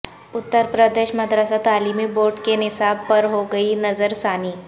اترپردیش مدرسہ تعلیمی بورڈ کے نصاب پر ہوگی نظر ثانی